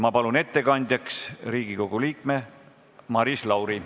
Ma palun ettekandjaks Riigikogu liikme Maris Lauri.